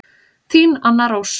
Þín Anna Rós.